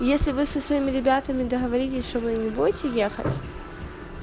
если вы со своими ребятами договорились что вы не будете ехать